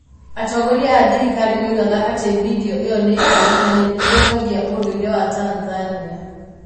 Atongoria a thirikari moigaga atĩ video ĩyo nĩ njũru na nĩ ĩthũkagia ũndũire wa Tanzania.